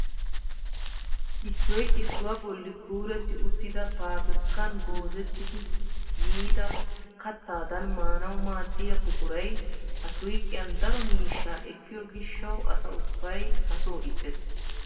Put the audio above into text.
Issoy issuwaa bolli kuretti uttida pabirkkaan goozettidi yiida kattadan maanawu maaddiyaa buquray ha suyqiyaan daro miishshaa ekkiyoo gishshawu asa ubbay ha soo ixxes!